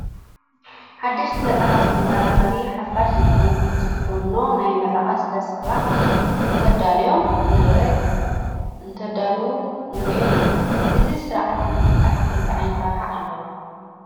ሓደሽቲ መፃሕፍቲ ብመራኸቢ ሓፋሽ ዝፍኖ ናይ ምረቓ ስለ ስርዓ እንትዳለወሎም ንርኢ ኢና፡፡ እዚ ስነ ስርዓት ነቲ ፀሓፊ እንታይ ዓይነት ረብሓ ኣለዎ?